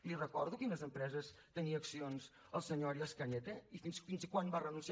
li recordo en quines empreses tenia accions el senyor arias cañete i fins quan va renunciar